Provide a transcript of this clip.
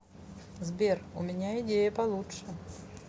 сбер у меня идея получше